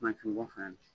Mansin bɔ fana